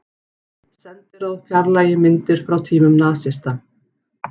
Sendiráð fjarlægi myndir frá tímum nasista